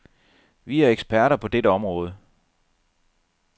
Vi er eksperter på dette område.